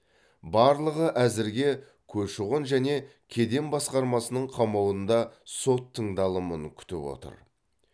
барлығы әзірге көші қон және кеден басқармасының қамауында сот тыңдалымын күтіп отыр